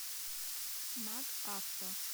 магавто